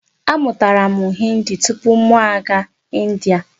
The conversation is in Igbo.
A mụtara m Hindi tupu mụ aga India.